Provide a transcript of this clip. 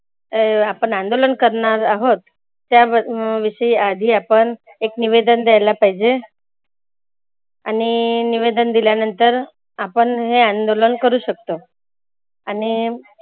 अं आपण अंदोलन करणार आहोत. त्या विषयी आधी आपण एक निवेदन द्यायला पाहीजे. आणि निवेदन दिल्यानंतर आपण हे अंदोलन करू शकतो. आणि